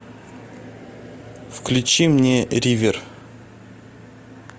включи мне ривер